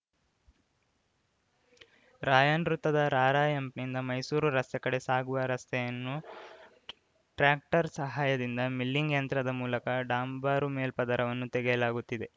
ರಾಯನ್‌ ವೃತ್ತದ ರಾರ‍ಯಂಪ್‌ನಿಂದ ಮೈಸೂರು ರಸ್ತೆ ಕಡೆ ಸಾಗುವ ರಸ್ತೆಯನ್ನು ಟ್ರ್ಯಾಕ್ಟರ್‌ ಸಹಾಯದಿಂದ ಮಿಲ್ಲಿಂಗ್‌ ಯಂತ್ರದ ಮೂಲಕ ಡಾಂಬರು ಮೇಲ್ಪದರವನ್ನು ತೆಗೆಯಲಾಗುತ್ತಿದೆ